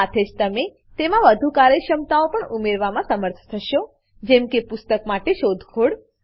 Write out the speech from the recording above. સાથે જ તમે તેમાં વધુ કાર્યક્ષમતાઓ પણ ઉમેરવામાં સમર્થ થશો જેમ કે પુસ્તક માટે શોધખોળ